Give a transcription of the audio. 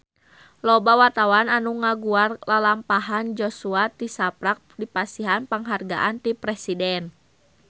Loba wartawan anu ngaguar lalampahan Joshua tisaprak dipasihan panghargaan ti Presiden